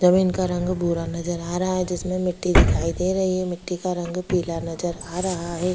जमीन का रंग भूरा नजर आ रहा है जिसमें मिट्टी दिखाई दे रही है मिट्टी का रंग पीला नजर आ रहा है।